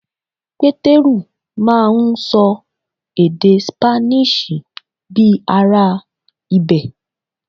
Pétérù máà ń ṣọ èdè Spanish bíi ará ibẹ̀.